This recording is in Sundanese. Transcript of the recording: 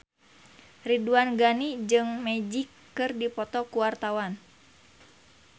Ridwan Ghani jeung Magic keur dipoto ku wartawan